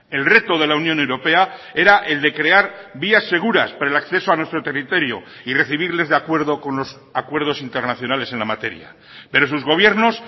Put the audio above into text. el reto de la unión europea era el de crear vías seguras para el acceso a nuestro territorio y recibirles de acuerdo con los acuerdos internacionales en la materia pero sus gobiernos